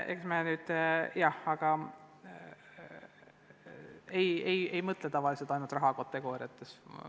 Aga ega me ei mõtle tavaliselt ainult rahakategooriates.